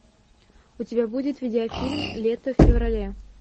у тебя будет видео фильм лето в феврале